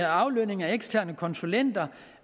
aflønning af eksterne konsulenter